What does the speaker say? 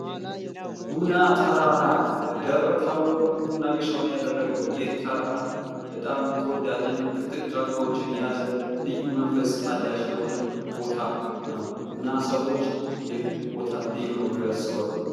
ጉና ተራራ በደብረ ታቦር መናገሻውን ያደረገው ይህ ተራራ በጣም ተወዳጅ እና ጥቅጥቅ ጫካዎችን የያዘ ልዩ መንፈስ አዳሽ የሆነ ቦታ ነው ። እና ሰዎች ይህ ቦታ ልዩ ነው ብለው ያስባሉ ።